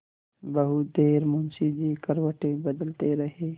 बहुत देर मुंशी जी करवटें बदलते रहे